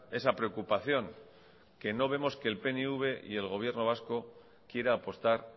esa preocupación que no vemos que el pnv y el gobierno vasco quiera apostar